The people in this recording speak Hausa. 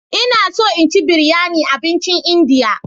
Ina so in ci biryani abincin Indiya.